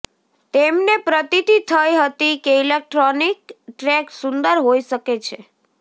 તેમને પ્રતીતી થઇ હતી કે ઇલેક્ટ્રોનિક ટ્રેક સુંદર હોઈ શકે છે